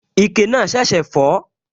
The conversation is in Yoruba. Ike náà ṣẹ̀ṣẹ̀ fọ́